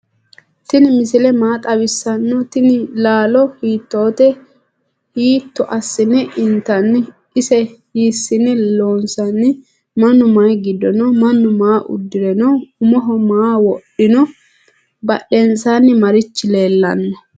tini misile maa xawisano ?tinni lallo hitote? hitto asine intani? ise hisine lonsoni? mannu mayi giddo no?manu maa udire no?umoho maa wodhino? badensani marichi leelani no?